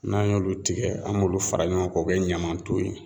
N'an y'olu tigɛ , an b'olu fara ɲɔgɔn kan k'o kɛ ɲaman ton ye.